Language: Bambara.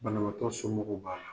Banabaatɔ somɔgɔw b'a la.